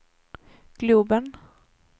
globen